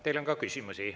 Teile on ka küsimusi.